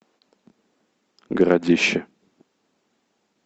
городище